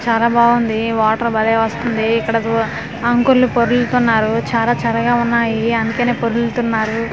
చాలా బాగుంది వాటర్ బాలే వస్తుంది ఇక్కడ చూడ అంకుల్ పొర్లుతూన్నరు చాలా చల్లగా ఉన్నాయి అందుకేనే పొర్లుతూన్నరు .